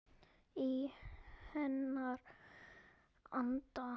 Í hennar anda.